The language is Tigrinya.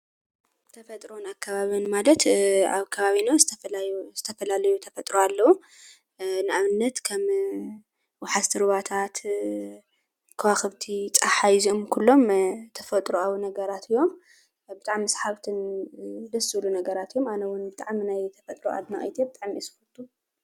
ተፈጥሮን ኣከባብን ማለት ኣብ ከባቢና ዝተፈላለዩ ተፈጥሮ ኣለው ።ንኣብነት ከምወሓዝቲ ሩባታት፣ ኮዋኽብቲ፣ ፀሓይ ኩሎም ተፈጥራኣዊ ነገራት እዮም ።ብጣዕሚ ሰሓብትን ደስ ዝብሉ ነገራት እዮም ። ኣነውን ብጣዕሚ ናይ ተፈጥሮ ኣድናቂት እየ ብጣዕሚ ደስ ይብሉ።